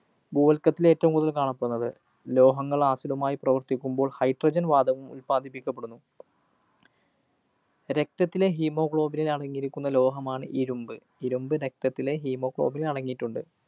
ഭൂവല്‍ക്കത്തില്‍ ഏറ്റവും കൂടുതല്‍ കാണപ്പെടുന്നത്. ലോഹങ്ങള്‍ acid മായി പ്രവര്‍ത്തിക്കുമ്പോള്‍ hydrogen വാതകം ഉല്‍പാദിപ്പിക്കപ്പെടുന്നു. രക്തത്തിലെ hemoglobin നില്‍ അടങ്ങിയിരിക്കുന്ന ലോഹമാണ് ഇരുമ്പ്. ഇരുമ്പ് രക്തത്തിലെ hemoglobin നില്‍ അടങ്ങിയിട്ടുണ്ട്.